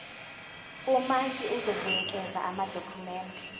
umantshi uzobuyekeza amadokhumende